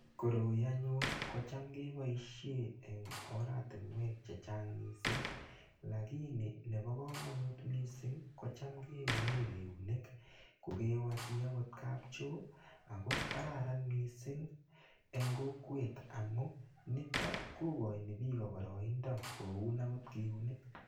Koroi anyun ko cham kepoishe eng' oratinwek che chang' missing' lakini nepa kamanut missing' ko cham kiune keunek ko kewe chi kapcho ako kararan missing' eng' kokwet amu nitok ko kachin pik paraindo koun akot keunek.